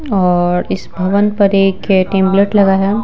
और इस भवन पर एक टेमलेट लगा है।